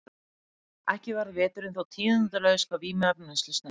Ekki varð veturinn þó tíðindalaus hvað vímuefnaneyslu snerti.